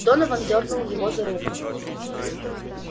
донован дёрнул его за руку